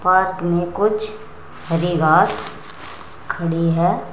Park में कुछ हरी घास खड़ी है।